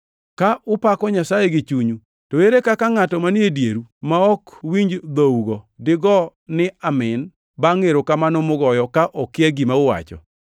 Ka upako Nyasaye gi chunyu, to ere kaka ngʼato manie dieru ma ok winji dhougo digo niya, “Amin” bangʼ erokamano mugoyo, ka okia gima uwacho?